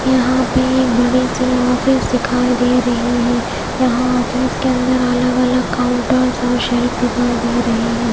यहां पे एक बड़ी सी ऑफिस दिखाई दे रही है यहां ऑफिस के अंदर अलग-अलग काउंटर्स और शेल्फ दिखाई दे रहे हैं।